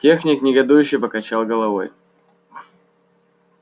техник негодующе покачал головой